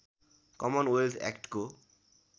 common wealth एक्टको